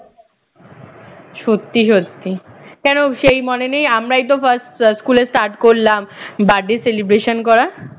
সত্যি সত্যি কেন সেই মনে নেই আমরাই তো first স্কুলে start করলাম birthday celebration করা